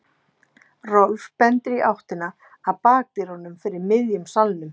Rolf bendir í áttina að bakdyrunum fyrir miðjum salnum.